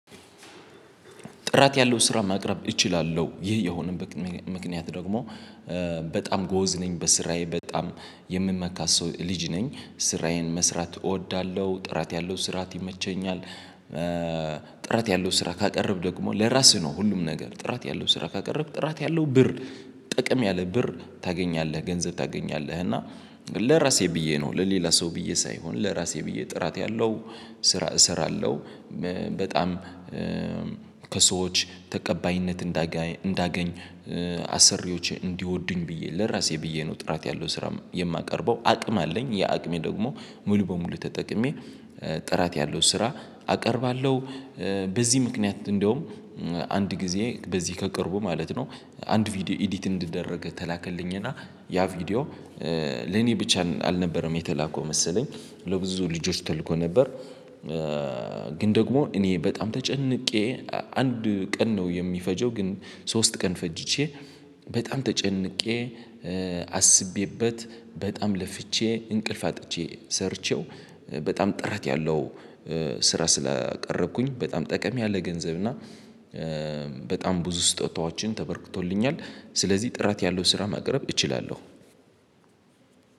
ጥራት ያለው ስራ ማቅረብ እችላለሁ ይህ የሆነበት ምክንያት ደግሞ በጣም ጎበዝ ነኝ በስራዬ በጣም የምመካ ሰው ልጅ ነኝ ስራዬን መስራት እወዳለሁ ጥራት ያለው ስራት ይመቸኛል ጥራት ያለው ስራ ካቀረብህ ደግሞ ለራስህ ነው ሁሉም ነገር ጥራት ያለው ስራ ካቀረብህ ጥራት ያለው ብር ጥቅም ያለ ብር ታገኛለህ ገንዘብ ታገኛለህ እና ለራሴ ብዬ ነው ለሌላ ሰው ብዬ ሳይሆን ለራሴ ብዬ ጥራት ያለው ስራ እሰራለሁ በጣም ከሰዎች ተቀባይነት እንዳገኝ እንዳገኝ አሰሪዎች እንዲወዱኝ ብዬ ለራሴ ብዬ ነው ጥራት ያለው ስራ የማቀርበው አቅም አለኝ ያ አቅሜ ደግሞ ሙሉ በሙሉ ተጠቅሜ ጥራት ያለው ስራ አቀርባለሁ በዚህ ምክንያት እንደውም አንድ ጊዜ በዚህ ከቅርቡ ማለት ነው አንድ ቪዲዮ ኤዲት እንዲደረግ ተላከልኝና ያ ቪዲዮ ለኔ ብቻ አልነበረም የተላከው መሰለኝ ለብዙ ልጆች ተልኮ ነበር ግን ደግሞ እኔ በጣም ተጨንቄ አንድ ቀን ነው የሚፈጀው ግን ሶስት ቀን ፈጅቼ በጣም ተጨንቄ አስቤበት በጣም ለፍቼ እንቅልፍ አጥቼ ሰርቼው በጣም ጥረት ያለው ስራ ስላቀረብኩኝ በጣም ጠቀም ያለ ገንዘብ እና በጣም ብዙ ስጦታዎችን ተበርክቶልኛል ስለዚህ ጥራት ያለው ስራ መቅረብ እችላለሁ።